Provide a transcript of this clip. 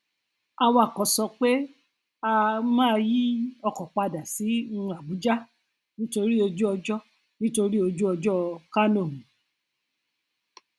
awakọ sọ pé a um máa yí ọkọ padà sí um abuja nítorí ojúọjọ nítorí ojúọjọ kánò um